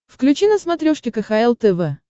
включи на смотрешке кхл тв